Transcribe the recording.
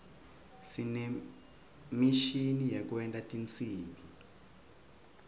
sinemishini yekwenta tinsimbi